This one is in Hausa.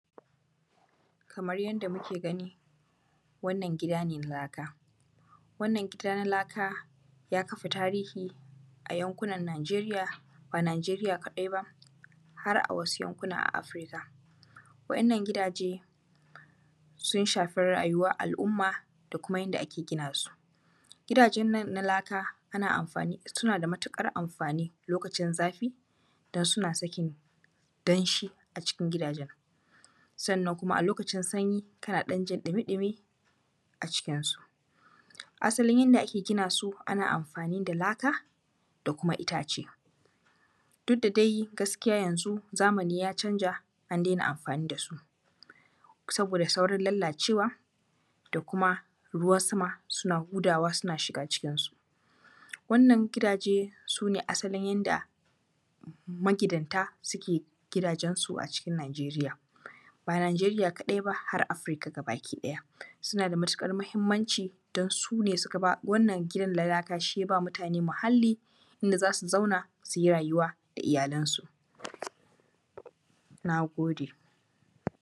Kamar yadda muka gani wannan gida ne na laka, wannan gida na laka ya kafa tarihi a yankunan Najeriya. Ba a Najeriya kaɗai ba har a wasu yankuna a Afirika. Wa’yannan gidaje sun shafi yayuwar al’umma da kuma yadda ake gina su. Gidajen nana na laka ana amfani suna da matuƙar amfani lokacin zafi, don suna sakin danshi a cikin gidajen, sannan kuma a lokacin sanyi kana ɗan jin ɗumi-ɗumi a cikinsu. Asalin yanda ake gina su, ana amfani da laka da kuma itace. Duk da dai gaskiya yanxu zamani ya canza an daina amfani da su. Sabosa saurinn lalacewa da kuma ruwan sama suna hudawa suna shiga cikinsu. Wannan gidaje su ne asalin yanda magidanta suke gidajensu a cikin Najeriya, ba Najeriya kaɗai ba har Afirika gaba ɗaya. Suna da matuƙar muhimmanci dan su ne suka ba, wannan gidan na laka shi y aba mutane muhalli, inda za su zauna inda za su zauna su yi rayuwa da iyalansu. Na gode.